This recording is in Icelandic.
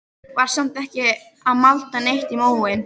Var samt ekki að malda neitt í móinn.